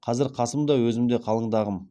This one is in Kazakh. қазір қасым да өзім де қалыңдағым